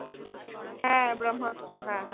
হ্যাঁ ব্রম্ভাস্ত্র হ্যাঁ